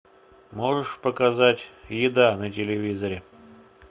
можешь показать еда на телевизоре